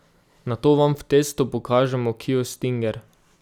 Nato vam v testu pokažemo kio stinger.